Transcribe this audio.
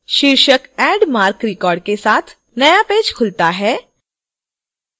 शीर्षक add marc record के साथ नया पेज खुलता है